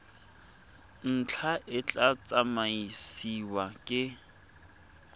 ntlha e tla tsamaisiwa ke